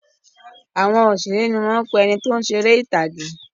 Àwọn òṣèré ni wọ́n ń pè ẹni tí ó ń ṣe eré ìtàgè